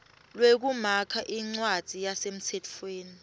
lwekumakha incwadzi yasemtsetfweni